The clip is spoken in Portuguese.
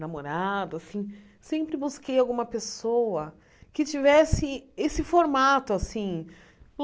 namorado assim, sempre busquei alguma pessoa que tivesse esse formato assim.